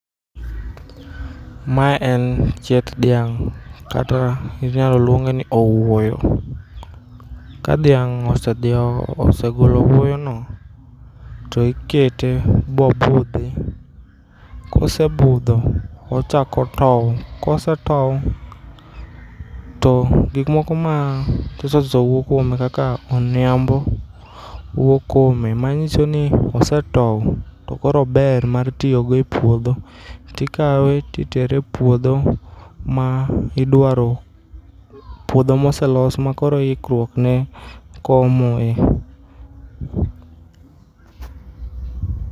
Ma en chieth dhiang' kata inyalo luongeni owuoyo. Ka dhiang' osedieo, osegolo owuoyono toikete bobudhi, kosebudho ochako tou, kosetou to gik moko mathisothiso wuok kuome kaka oniambo wuok kuome manyisoni osetou to koro ober mar tiyogo e puodho tikawe titere e puodho ma idwaro, puodho moselos makoro ikruokne komoe .